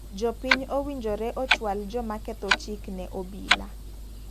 Jopiiny owinjore ochwal joma ketho chik ne obila.